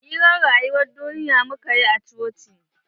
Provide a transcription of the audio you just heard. Hirar rayuwan duniya mukayi a coci.